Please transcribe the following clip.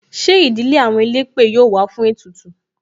Ṣé ìdílé àwọn elépè yọ wá fún ètùtù?